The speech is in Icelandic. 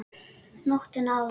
Nóttina áður!